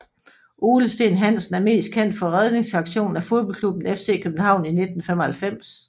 Ole Steen Hansen er mest kendt for redningsaktionen af fodboldklubben FC København i 1995